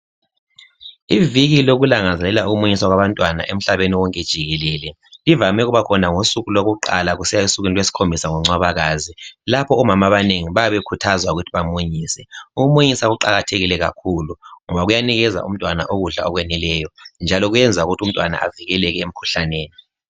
iviki lokulangazelela ukumunyisa kwabantwana umhlaba wonke jikelele ivame ukubakhona ngosuku lwakuqala kusiya esukwini lwesikhombisa ngoncwabakazi lapho omama abanengi bayabe bekhuthazwa ukuthi bamunyise ukumunyisa kuqakathekile kakhulu ngoba kuyanikeza umntwana ukudla okweneleyo lokwenza ukuthi umntwana avikeleke emkhuhlaneni